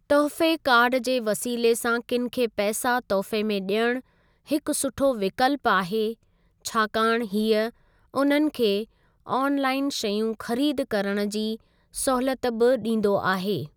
तोहफ़े कार्ड जे वसीले सां किनि खे पैसा तोहफ़े में डि॒यणु हिकु सुठो विकल्पु आहे छाकाणि हीअ उन्हनि खे ऑनलाइन शयूं ख़रीदु करणु जी सहूलियत बि डीं॒दो आहे।